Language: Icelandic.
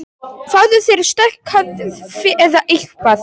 Fáðu þér sterkt kaffi eða eitthvað.